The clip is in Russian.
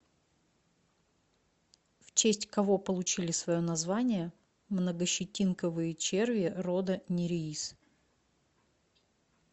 в честь кого получили свое название многощетинковые черви рода нереис